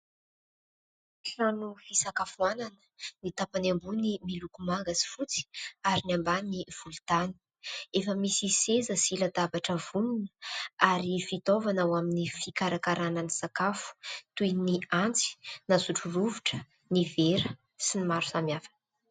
Trano fisakafoanana, ny tapany ambony miloko manga sy fotsy, ary ny ambany volontany. Efa misy seza sy latabatra vonona, ary fitaovana ho amin'ny fikarakarana ny sakafo : toy ny antsy, na sotrorovitra, ny vera, sy ny maro samihafa...